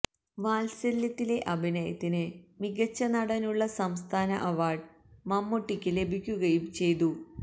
വാത്സല്യത്തിലെ അഭിനയത്തിന് മികച്ച നടനുള്ള സംസ്ഥാന അവാര്ഡ് മമ്മൂട്ടിക്ക് ലഭിക്കുകയും ചെയ്തു